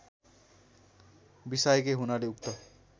बिसाएकै हुनाले उक्त